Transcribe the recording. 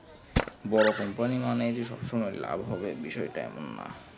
বরো company মানে যে সব সময়ে লাভ হবে বিষয় টা এমন না